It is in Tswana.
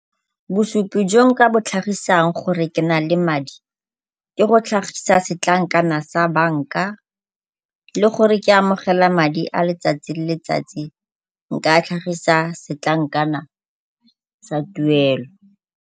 Bosupi jo nka bo tlhagisang gore ke na le madi, ke go tlhagisa setlankana sa banka Le gore ke amogela madi a letsatsi le letsatsi nka tlhagisa setlankana sa tuelo.